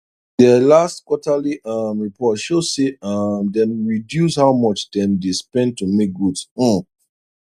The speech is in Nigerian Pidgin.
der last quarterly um report show say um dem reduce how much dem dey spend to make goods um